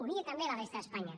unida també a la resta d’espanya